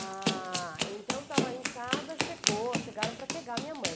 Ah, então eu estava em casa, chegou, chegaram para pegar minha mãe.